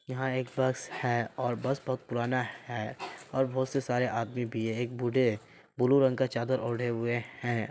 यहा एक बस है और बस बहुत पुराना है ओर बहुत से सारे आदमी भी है। एक बूढ़े है। ब्लू रंग का चादर ओढ़े हुए है।